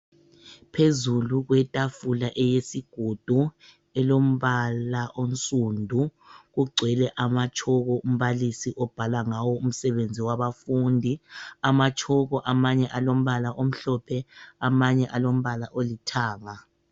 Phezulu kwetafula eyesigodo elombala onsundu kugcwele amatshoko umbalisi obhala ngawo umsebenzi wabafundi. Amatshoko amanye alombala omhlophe amanye alombala olithanga.